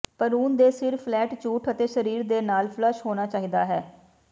ਭਰੂਣ ਦੇ ਸਿਰ ਫਲੈਟ ਝੂਠ ਅਤੇ ਸਰੀਰ ਦੇ ਨਾਲ ਫਲੱਸ਼ ਹੋਣਾ ਚਾਹੀਦਾ ਹੈ